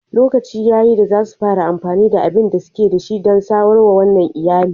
Lokaci ya yi da za su fara amfani da abin da suke da shi don samar wa wannan iyali.